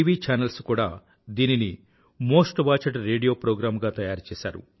channels కూడా దీనిని most watched radio programme గా తయారుచేసారు